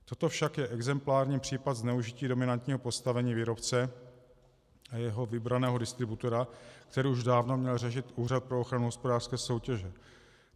Toto však je exemplární případ zneužití dominantního postavení výrobce a jeho vybraného distributora, který už dávno měl řešit Úřad pro ochranu hospodářské soutěže.